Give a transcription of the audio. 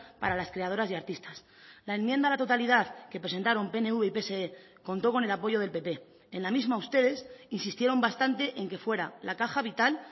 para las creadoras y artistas la enmienda a la totalidad que presentaron pnv y pse contó con el apoyo del pp en la misma ustedes insistieron bastante en que fuera la caja vital